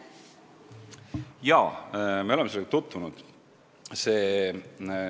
Jaa, me oleme nendega tutvunud.